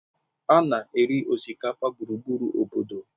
A na-eri osikapa gburugburu obodo